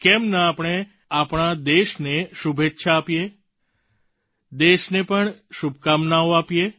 કેમ ન આપણે આપણા દેશને શુભેચ્છા આપીએ દેશને પણ શુભકામનાઓ આપીએ